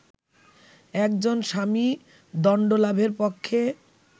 একজন স্বামী দণ্ডলাভের পক্ষে